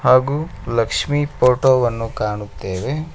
ಹಾಗೂ ಲಕ್ಷ್ಮೀ ಫೋಟೋ ವನ್ನು ಕಾಣುತ್ತೇವೆ.